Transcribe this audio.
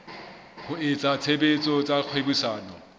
wa etsa tshebetso tsa kgwebisano